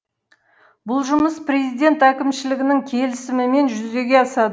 бұл жұмыс президент әкімшілігінің келісімімен жүзеге асады